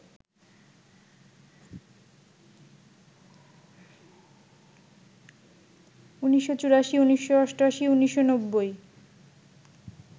১৯৮৪, ১৯৮৮, ১৯৯০